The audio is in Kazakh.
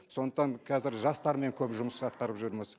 сондықтан қазір жастармен көп жұмыс атқарып жүрміз